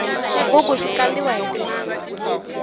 xigugu xi kandiwa hi timanga